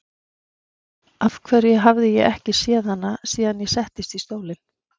Af hverju hafði ég ekki séð hann síðan ég settist í stólinn?